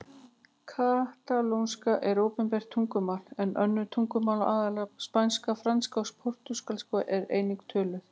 Katalónska er opinbert tungumál en önnur tungumál, aðallega spænska, franska og portúgalska, eru einnig töluð.